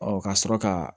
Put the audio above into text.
Ɔ ka sɔrɔ ka